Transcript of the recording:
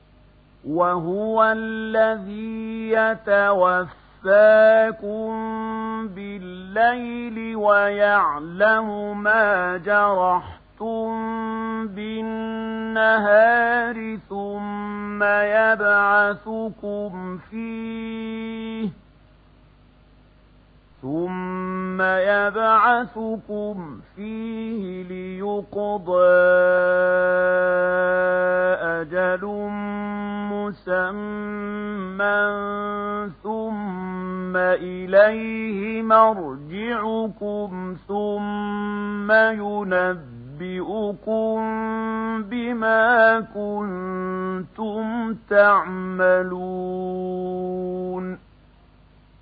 وَهُوَ الَّذِي يَتَوَفَّاكُم بِاللَّيْلِ وَيَعْلَمُ مَا جَرَحْتُم بِالنَّهَارِ ثُمَّ يَبْعَثُكُمْ فِيهِ لِيُقْضَىٰ أَجَلٌ مُّسَمًّى ۖ ثُمَّ إِلَيْهِ مَرْجِعُكُمْ ثُمَّ يُنَبِّئُكُم بِمَا كُنتُمْ تَعْمَلُونَ